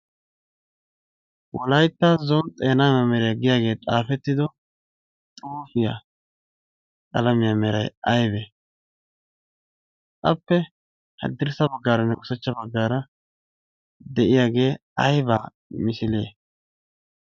"wolaytta zon xeena memeriya" giyagee xaafettido xuufiya qalamiya meray ayibee? appe haddirssa baggaaranne ushachcha baggaara de"iyagee ayibaa misilee?